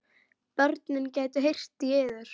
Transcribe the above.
Börnin gætu heyrt í yður.